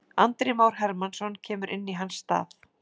Andri Már Hermannsson kemur inn í hans stað.